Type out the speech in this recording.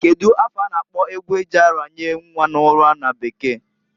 Kedu afa a na-akpọ egwu e ji aranye nnwa n'ụra na bekee?